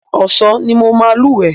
Ọ̀sán ni mo máa lúwẹ̀ẹ́.